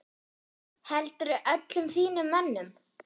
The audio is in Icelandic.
Heldurðu öllum þínum mönnum?